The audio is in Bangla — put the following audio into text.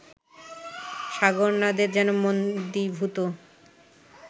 সাগরনাদে যেন মন্দীভূত